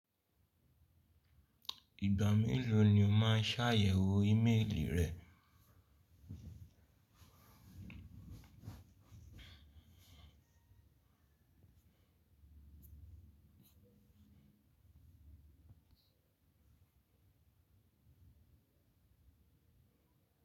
Ìgbà mélòó ni o máa ṣàyẹ̀wò ímélì rẹ?